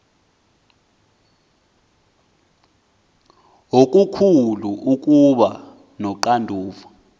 okukhulu ukuba noxanduva